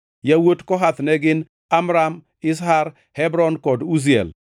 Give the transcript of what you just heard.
Yawuot Kohath ne gin: Amram, Izhar, Hebron kod Uziel.